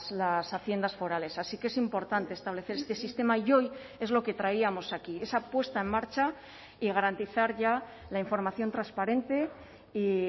las haciendas forales así que es importante establecer este sistema y hoy es lo que traíamos aquí esa puesta en marcha y garantizar ya la información transparente y